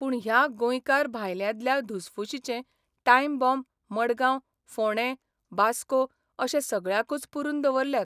पूण ह्या गोंयकार भायल्यांदल्या धुसफुशीचें 'टायम बाँब 'मडगांव, फोणें, बास्को अशे सगळ्याकूच पुरून दवरल्यात.